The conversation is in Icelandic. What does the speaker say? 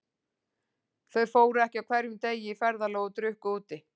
Þau fóru ekki á hverjum degi í ferðalag og drukku úti.